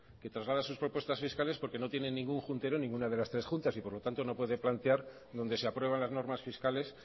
que traslada sus propuestas fiscales porque no tienen ningún juntero en ninguna de las tres juntas y por lo tanto no puede plantear donde se aprueban las normas fiscales